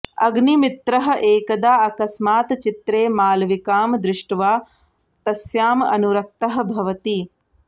अग्निमित्रः एकदा अकस्मात् चित्रे मालविकां दृष्ट्वा तस्याम् अनुरक्तः भवति